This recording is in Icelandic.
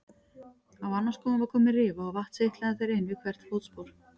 Á annan skóinn var komin rifa og vatn seytlaði þar inn við hvert fótspor.